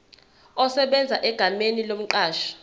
esebenza egameni lomqashi